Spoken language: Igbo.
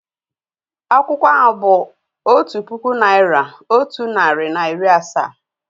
Akwụkwọ ahụ otu puku naị́ra, otu narị na iri asaa.